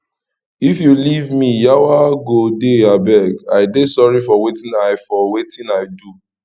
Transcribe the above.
if you leave me yawa go dey abeg i dey sorry for wetin i for wetin i do